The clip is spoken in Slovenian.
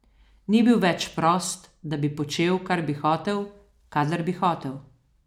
Ni bil več prost, da bi počel, kar bi hotel, kadar bi hotel.